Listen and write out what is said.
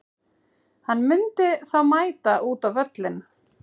Hann myndi þá mæta út á völlinn.